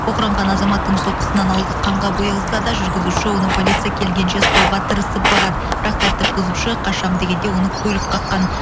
оқыранған азаматтың соққысынан ауызы қанға боялса да жүргізуші оны полиция келгенше ұстауға тырысып бағады бірақ тәртіп бұзушы қашамын дегенде оны көлік қаққан